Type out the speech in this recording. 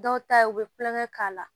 Dɔw ta ye u bɛ kulonkɛ k'a la